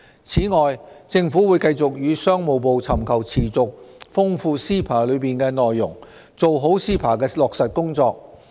此外，政府會繼續與商務部尋求持續豐富 CEPA 的內容，做好 CEPA 的落實工作。